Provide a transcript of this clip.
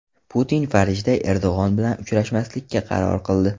Putin Parijda Erdo‘g‘on bilan uchrashmaslikka qaror qildi .